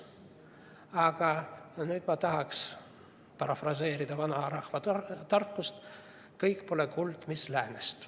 Aga nüüd ma tahaks parafraseerida vanarahva tarkust, et kõik pole kuld, mis läänest.